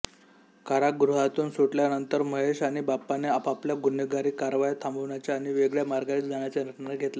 कारागृहातून सुटल्यानंतर महेश आणि बाप्पाने आपापल्या गुन्हेगारी कारवाया थांबवण्याचा आणि वेगळ्या मार्गाने जाण्याचा निर्णय घेतला